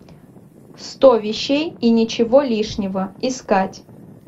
сто вещей и ничего лишнего искать